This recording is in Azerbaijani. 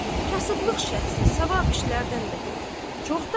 Kasıblıq şəxsi savab işlərdən də qoyur.